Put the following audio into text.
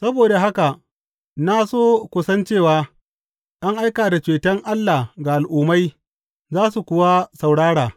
Saboda haka na so ku san cewa an aika da ceton Allah ga Al’ummai, za su kuwa saurara!